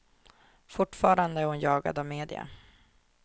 Fortfarande är hon jagad av media.